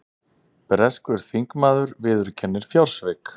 Breskur þingmaður viðurkennir fjársvik